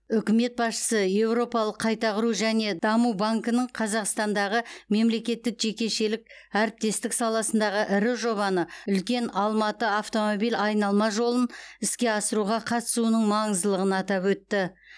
үкімет басшысы еуропалық қайта құру және даму банкінің қазақстандағы мемлекеттік жекешелік әріптестік саласындағы ірі жобаны үлкен алматы автомобиль айналма жолын іске асыруға қатысуының маңыздылығын атап өтті